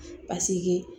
Paseke